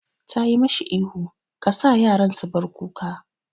Tayi mashi ihu 'Ka sa yaran su bar kuka'!